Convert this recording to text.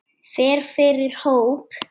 Fer fyrir hóp.